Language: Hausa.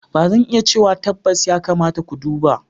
Ba zan iya cewa tabbas, ya kamata ku duba.